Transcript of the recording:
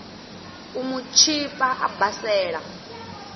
u mu tshipa a basela